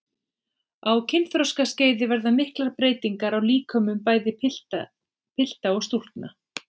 Á kynþroskaskeiði verða miklar breytingar á líkömum bæði pilta og stúlkna.